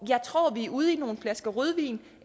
jeg tror at vi er ude i nogle flasker rødvin